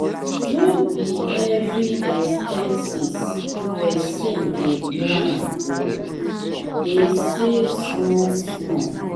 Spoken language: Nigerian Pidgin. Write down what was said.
no be every expenses pesin dey plan o dey save small-small.